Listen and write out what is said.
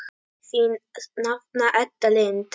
Þín nafna Edda Lind.